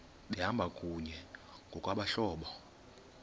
behamba kunye ngokwabahlobo